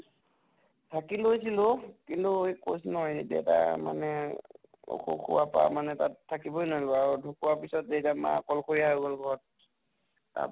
থাকি লৈছিলো, কিন্তু কৈছো নহয় দেতা মানে অসুখ হোৱাৰ পা মানে তাত থাকিবৈ আৰু ঢকোৱা পিছত এতিয়া মা অকলসৰীয়া হৈ গʼল ঘৰত । তাৰ